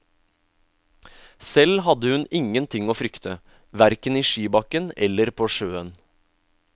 Selv hadde hun ingen ting å frykte, verken i skibakken eller på sjøen.